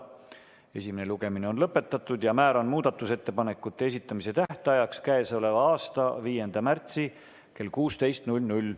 Esimene lugemine on lõpetatud ja määran muudatusettepanekute esitamise tähtajaks k.a 5. märtsi kell 16.